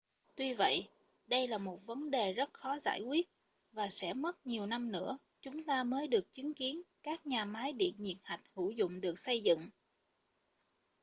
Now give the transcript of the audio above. tuy vậy đây là một vấn đề rất khó giải quyết và sẽ mất nhiều năm nữa chúng ta mới được chứng kiến các nhà máy điện nhiệt hạch hữu dụng được xây dựng